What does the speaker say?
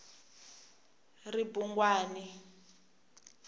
ribungwani